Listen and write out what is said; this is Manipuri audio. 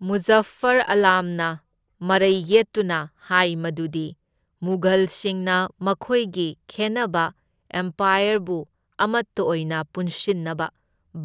ꯃꯨꯖꯐꯐ꯭ꯔ ꯑꯥꯂꯝꯅ ꯃꯔꯩ ꯌꯦꯠꯇꯨꯅ ꯍꯥꯏ ꯃꯗꯨꯗꯤ ꯃꯨꯘꯜꯁꯤꯡꯅ ꯃꯈꯣꯏꯒꯤ ꯈꯦꯟꯅꯕ ꯑꯦꯝꯄꯥꯌꯔꯕꯨ ꯑꯃꯇ ꯑꯣꯏꯅ ꯄꯨꯟꯁꯤꯟꯅꯕ,